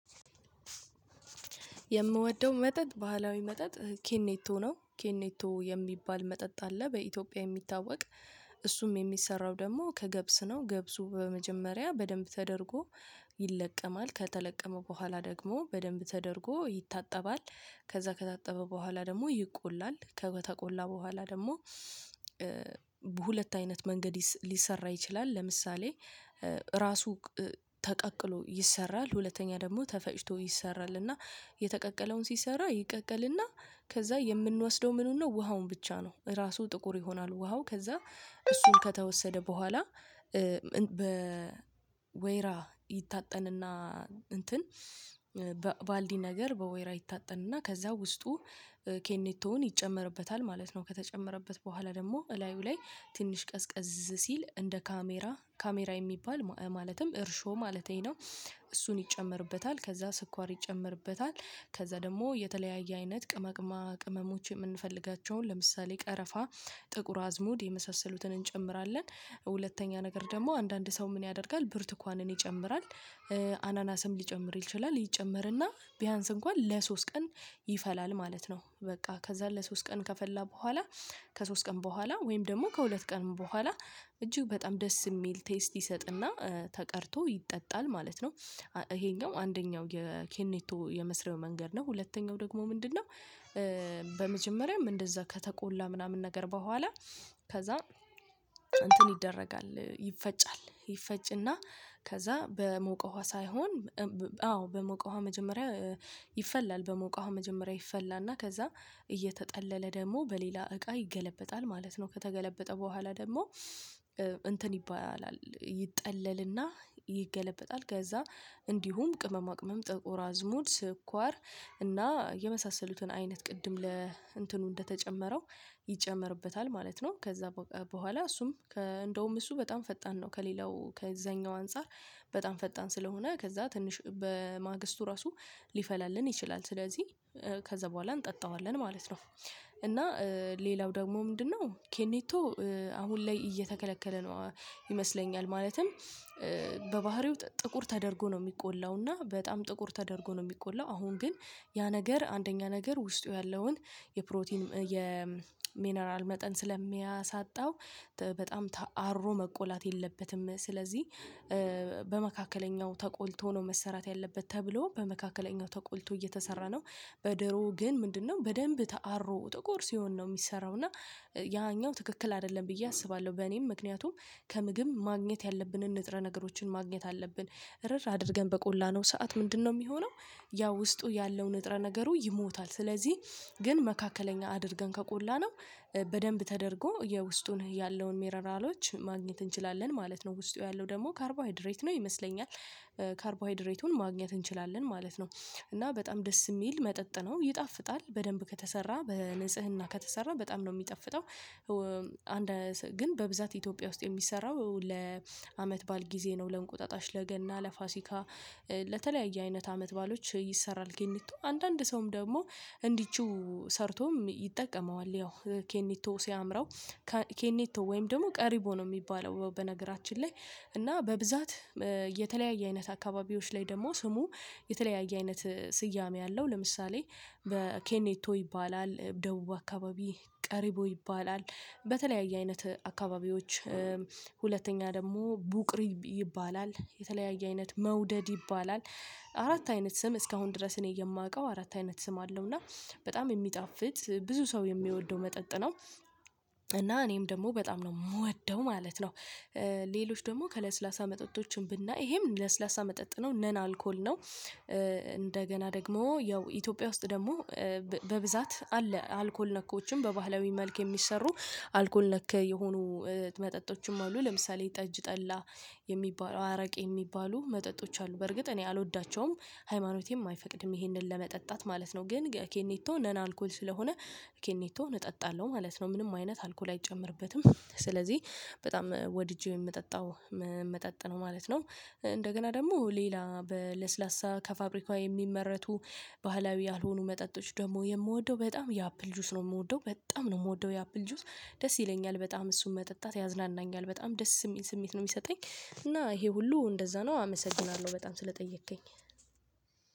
የምወደው መጠጥ ባህላዊ መጠጥ ኬኔቶ ነው ኬኔቶ የሚባል መጠጥ አለ በኢትዮጵያ የሚታወቅ። እሱም የሚሰራው ደግሞ ከገብስ ነው። ገብሱ በመጀመሪያ በደንብ ተደርጎ ይለቀማል ከተለቀመ በኋላ ደግሞ በደንብ ተደርጎ ይታጠባል። ከዛ ከታጠበ በኋላ ደግሞ ይቆላል ከተቆላ በኋላ ደግሞ በሁለት አይነት መንገድ ሊሰራ ይችላል። ለምሳሌ ራሱ ተቀቅሎ ይሰራል ሁለተኛ ደግሞ ተፈጭቶ ይሰራል። እና የተቀቀለውን ሲሰራ ይቀቀልና ከዛ የምንወስደው ምኑን ነው ውሃውን ብቻ ነው። ራሱ ጥቁር ይሆናሉ ውሃው ከዛ እሱን ከተወሰደ በኋላ በወይራ ይታጠንና እንትን ባልዲ ነገር በወይራ ይታጠንና ከዛ ውስጡ ኬኔቶን ይጨመርበታል ማለት ነው። ከተጨመረበት በኋላ ደግሞ እላዩ ላይ ትንሽ ቀዝቀዝ ሲል እንደ ካሜራ ካሜራ የሚባል ማለትም እርሾ ማለቴ ነው። እሱን ይጨመርበታል ከዛ ስኳር ይጨምርበታል ከዛ ደግሞ የተለያየ አይነት ቅመቅማ ቅመሞች የምንፈልጋቸውን ለምሳሌ ቀረፋ ጥቁር አዝሙድ የመሳሰሉትን እንጨምራለን። ሁለተኛ ነገር ደግሞ አንዳንድ ሰው ምን ያደርጋል ብርቱካንን ይጨምራል። አናናስም ሊጨምር ይችላል ይጨመርና ቢያንስ እንኳን ለሶስት ቀን ይፈላል ማለት ነው። በቃ ከዛ ለሶስት ቀን ከፈላ በኋላ ከሶስት ቀን በኋላ ወይም ደግሞ ከሁለት ቀን በኋላ እጅግ በጣም ደስ የሚል ቴስት ይሰጥና ተቀድቶ ይጠጣል ማለት ነው። ይሄኛው አንደኛው የኬኔቶ የመስሪያው መንገድ ነው። ሁለተኛው ደግሞ ምንድነው? በመጀመሪያም እንደዛ ከተቆላ ምናምን ነገር በኋላ ከዛ እንትን ይደረጋል ይፈጫል ይፈጭና ከዛ በሞቀ ውሃ ሳይሆን አዎ በሞቀዋ መጀመሪያ ይፈላል በሞቀው መጀመሪያ ይፈላና ከዛ እየተጠለለ ደግሞ በሌላ እቃ ይገለበጣል ማለት ነው። ከተገለበጠ በኋላ ደግሞ እንትን ይባላል ይጠለልና ይገለበጣል ከዛ እንዲሁም ቅመማ ቅመም ጠቆራ ዝሙድ ስኳር እና የመሳሰሉትን አይነት ቅድም ለእንትኑ እንደተጨመረው ይጨመርበታል ማለት ነው። ከዛ በኋላ እሱም እንደውም እሱ በጣም ፈጣን ነው። ከሌላው ከዛኛው አንፃር በጣም ፈጣን ስለሆነ ከዛ ትንሽ በማግስቱ ራሱ ሊፈላልን ይችላል። ስለዚህ ከዛ በኋላ እንጠጣዋለን ማለት ነው። እና ሌላው ደግሞ ምንድነው? ኬኔቶ አሁን ላይ እየተከለከለ ነው ይመስለኛል። ማለትም በባህሪው ጥቁር ተደርጎ ነው የሚቆላው እና በጣም ጥቁር ተደርጎ ነው የሚቆላው አሁን ግን ያ ነገር አንደኛ ነገር ውስጡ ያለውን የፕሮቲን የሚነራል መጠን ስለሚያሳጣው በጣም ተአሮ መቆላት የለበትም። ስለዚህ በመካከለኛው ተቆልቶ ነው መሰራት ያለበት ተብሎ በመካከለኛው ተቆልቶ እየተሰራ ነው። በደሮ ግን ምንድነው በደንብ ተአሮ ጥቁር ሲሆን ነው የሚሰራው እና ያኛው ትክክል አይደለም ብዬ አስባለሁ። በኔም ምክንያቱም ከምግብ ማግኘት ያለብንን ንጥረ ነገሮችን ማግኘት አለብን። እርር አድርገን በቆላነው ሰዓት ምንድነው የሚሆነው? ያ ውስጡ ያለው ንጥረ ነገሩ ይሞታል ስለዚህ ግን መካከለኛ አድርገን ከቆላነው በደንብ ተደርጎ የውስጡን ያለውን ሜነራሎች ማግኘት እንችላለን ማለት ነው። ውስጡ ያለው ደግሞ ካርቦሃይድሬት ነው ይመስለኛል ካርቦሃይድሬቱን ማግኘት እንችላለን ማለት ነው። እና በጣም ደስ የሚል መጠጥ ነው ይጣፍጣል በደንብ ከተሰራ በንጽህና ከተሰራ በጣም ነው የሚጠፍጠው። አንድ ግን በብዛት ኢትዮጵያ ውስጥ የሚሰራው ለአመት ባዓል ጊዜ ነው ለእንቁጣጣሽ ለገና ለፋሲካ አይነት አመት ባሎች ይሰራል። ግንቱ አንዳንድ ሰውም ደግሞ እንዲችው ሰርቶም ይጠቀመዋል። ያው ኬኒቶ ሲያምረው ኬኔቶ ወይም ደግሞ ቀሪቦ ነው የሚባለው። በነገራችን ላይ እና በብዛት የተለያየ አይነት አካባቢዎች ላይ ደግሞ ስሙ የተለያየ አይነት ስያሜ አለው። ለምሳሌ በኬኔቶ ይባላል ደቡብ አካባቢ ቀሪቦ ይባላል። በተለያየ አይነት አካባቢዎችም ሁለተኛ ደግሞ ቡቅሪ ይባላል የተለያየ አይነት መውደድ ይባላል። አራት አይነት ስም እስካሁን ድረስ እኔ የማውቀው አራት አይነት ስም አለው። እና በጣም የሚጣፍጥ ብዙ ሰው የሚወደው መጠጥ ነው። እና እኔም ደግሞ በጣም ነው የምወደው ማለት ነው። ሌሎች ደግሞ ከለስላሳ መጠጦችን ብናይ ይሄም ለስላሳ መጠጥ ነው። ነን አልኮል ነው። እንደገና ደግሞ ያው ኢትዮጵያ ውስጥ ደግሞ በብዛት አለ አልኮል ነኮችን በባህላዊ መልክ የሚሰሩ አልኮል ነክ የሆኑ መጠጦችም አሉ። ለምሳሌ ጠጅ ጠላ የሚባል አረቄ የሚባሉ መጠጦች አሉ። በርግጥ እኔ አልወዳቸውም ሃይማኖቴም አይፈቅድም ይሄንን ለመጠጣት ማለት ነው። ግን ኬኔቶ ነና አልኮል ስለሆነ ኬኔቶ እጠጣለሁ ማለት ነው። ምንም አይነት አልኮል አይጨምርበትም ስለዚህ በጣም ወድጄ የምጠጣው የምመጣጥነው ነው ማለት ነው። እንደገና ደግሞ ሌላ በለስላሳ ከፋብሪካው የሚመረቱ ባህላዊ ያልሆኑ መጠጦች ደግሞ የምወደው በጣም የአፕል ጁስ ነው። የምወደው በጣም ነው የምወደው የአፕል ጁስ ደስ ይለኛል በጣም እሱን መጠጣት ያዝናናኛል በጣም ደስ የሚል ስሜት ነው የሚሰጠኝ። እና ይሄ ሁሉ እንደዛ ነው አመሰግናለሁ በጣም ስለጠየቅከኝ።